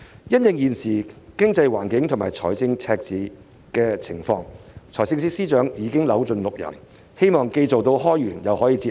因應現時經濟環境及財政赤字的狀況，司長已扭盡六壬，希望既做到開源又可以節流。